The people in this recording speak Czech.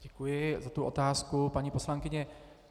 Děkuji za tu otázku, paní poslankyně.